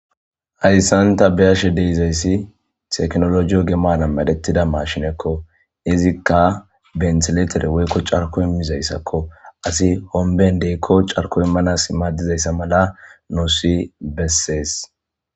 hayssanta beyashe de'izayssi teknoloje oge maran madhettida mashinekko izikka benteletere woykko carko immizayssakko asi homben deykko carko immanas imaaddizayssa mala noosi bessees